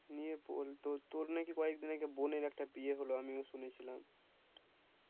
ইয়ে বল তোর নাকি কয়েক দিন আগে বোনের একটা বিয়ে হল আমিও শুনেছিলাম